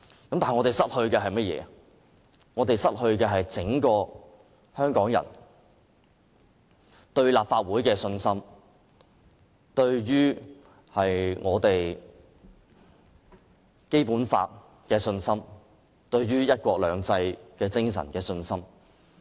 可是，我們會失去香港人對立法會的信心、對《基本法》的信心及對"一國兩制"精神的信心。